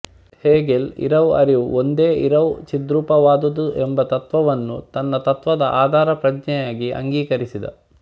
Hegel ಇರವು ಅರಿವು ಒಂದೇ ಇರವು ಚಿದ್ರೂಪವಾದದ್ದುಎಂಬ ತತ್ತ್ವವನ್ನೂ ತನ್ನ ತತ್ತ್ವದ ಆಧಾರಪ್ರತಿಜ್ಞೆಯಾಗಿ ಅಂಗೀಕರಿಸಿದ